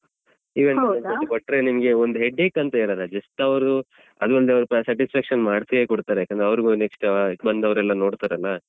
Event management ಗೆ ಕೊಟ್ರೆ ಅಹ್ ನಿಮ್ಗೆ ಒಂದ್ headache ಅಂತ ಇರಲ್ಲ just ಅವ್ರು ಅದು ಒಂದು satisfaction ಮಾಡಿಯೇ ಕೊಡ್ತಾರೆ ಯಾಕಂದ್ರೆ ಅವ್ರ್ಗೂ next ಬಂದವರೆಲ್ಲ ನೋಡ್ತಾರಲ್ಲ.